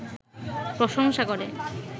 প্রশংসা করে